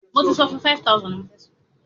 Béèni yíò rá Fáìlì títún.